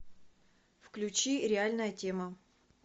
включи реальная тема